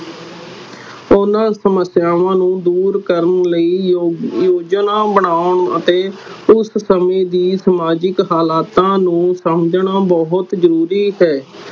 ਓਹਨਾ ਸਮੱਸਿਆਵਾ ਨੂੰ ਦੂਰ ਕਰਨ ਲਈ ਝੋਜਣਾ ਬਨਾਉਣ ਅਤੇ ਉਸ ਸਮੇ ਦੇ ਸਮਾਜਿਕ ਹਲਾਤਾਂ ਨੂੰ ਸਮਝਣਾ ਬਹੁਤ ਜ਼ਰੂਰੀ ਹੈ